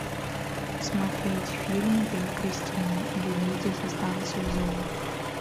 смотреть фильм я кристина или дети со станции зоо